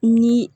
Ni